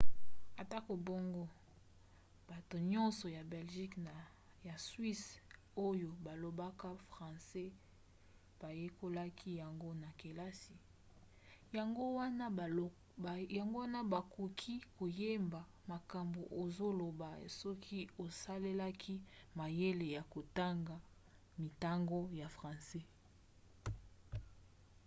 atako bongo bato nyonso ya belgique na ya suisse oyo balobaka francais bayekolaki yango na kelasi yango wana bakoki koyeba makambo ozoloba soki osalelaki mayele ya kotanga mintango ya francais